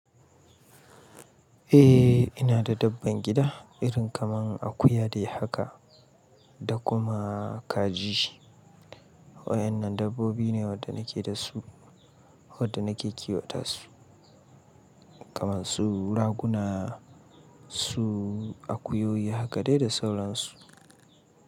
Eh ina da dabban gida irin kamar akuya dai haka da kuma kaji. Waɗannan dabbobi ne waɗanda nake da su, waɗanda nake kiwata su kamar su raguna, su akuyoyi haka dai da sauran su.